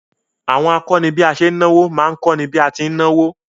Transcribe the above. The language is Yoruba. Àwọn akọ́ni bí a ṣe ń náwó má ń kọ́ni bí a ti ń náwó